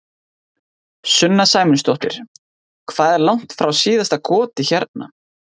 Sunna Sæmundsdóttir: Hvað er langt frá síðasta goti hérna?